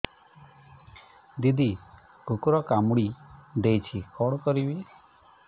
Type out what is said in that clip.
ଦିଦି କୁକୁର କାମୁଡି ଦେଇଛି କଣ କରିବି